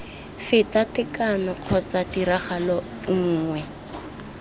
feta tekano kgotsa tiragalo nngwe